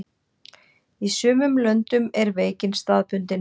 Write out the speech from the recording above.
Í sumum löndum er veikin staðbundin.